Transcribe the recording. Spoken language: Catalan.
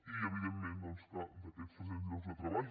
i evidentment doncs que d’aquests tres cents llocs de treball